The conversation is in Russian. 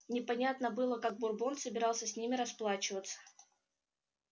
непонятно было как бурбон собирался с ними расплачиваться